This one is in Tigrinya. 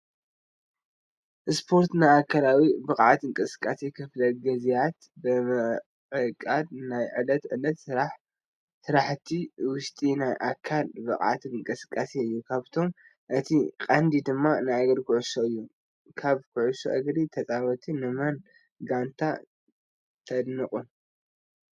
ስፖርት፣ ናይ ኣካላዊ ብቕዓት እንቅስቃሴ ክፍለ ጊዝያት ብምዕቃድ ናይ ዕለት ዕለት ስራሕቲ ውሽጢ ናይ ኣካል ብቕዓት እንቅስቃሴ እዩ፡፡ ካብኣቶም እቲ ቀንዲ ድማ ናይ እግሪ ኩዕሶ እዩ፡፡ ካብ ኩዕሶ እግሪ ተፃወቲ ንመን ጋንታ ተድንቑ?